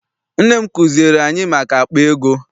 Nne m kuziere anyị maka akpa ego.